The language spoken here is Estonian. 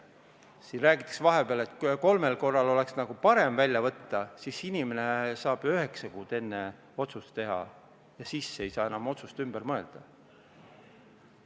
Siin räägiti vahepeal, et kolmel korral oleks nagu parem välja võtta, siis inimene saab üheksa kuud enne otsuse teha ja siis ei saa enam ümber mõelda.